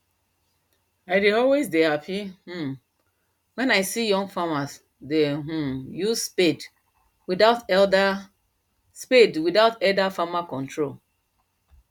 i dey always dey happy um wen i see young farmers dey um use spade without elder spade without elder farmer control